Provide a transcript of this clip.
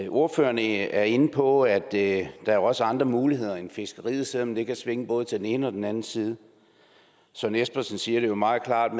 ordføreren er inde på at der også er andre muligheder end fiskeriet selv om det kan svinge både til den ene og den anden side søren espersen siger det meget klart